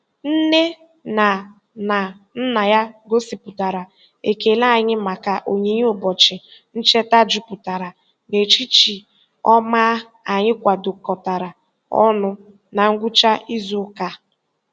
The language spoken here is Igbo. Nne na na nna ya gosipụtara ekele anyị maka onyinye ụbọchị ncheta jupụtara n'echiche ọma anyị kwadokọtara ọnụ na ngwụcha izuụka a.